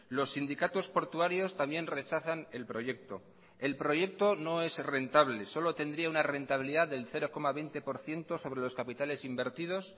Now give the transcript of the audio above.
los sindicatos portuarios también rechazan el proyecto el proyecto no es rentable solo tendría una rentabilidad del cero coma veinte por ciento sobre los capitales invertidos